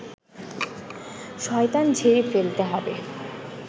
শয়তান ঝেড়ে ফেলতে হবে